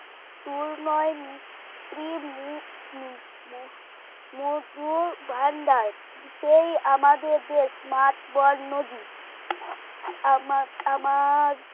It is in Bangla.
সুর নয় ম ম মধু ভান্ডার সেই আমাদের দেশ মাঠ বড় নদী আমার আমার